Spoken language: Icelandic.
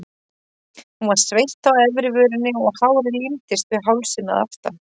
Hún var sveitt á efri vörinni og hárið límdist við hálsinn að aftan.